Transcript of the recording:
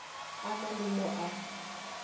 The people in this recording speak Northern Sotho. a na le mo a